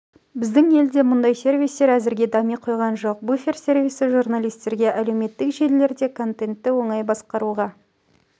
біздің елде мұндай сервистер әзірге дами қойған жоқ буфер сервисі журналистерге әлеуметтік желілерде контентті оңай басқаруға